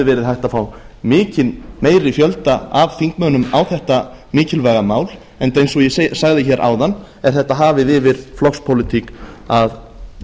hægt að fá mikinn meiri fjölda af þingmönnum á þetta mikilvæg mál enda eins og ég sagði hér áðan er þetta hafið yfir flokkspólitík að